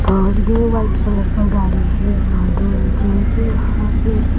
और दो white colour का गाड़ी है यहाँ दो यहाँ पे --